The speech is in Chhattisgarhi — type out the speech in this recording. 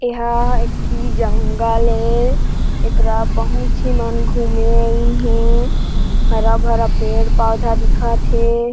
ये हा एक ठि जंगल ए येकरा बहुत झी मन घूमे आइन हे हरा-भरा पेड़-पौधा दिखत हे।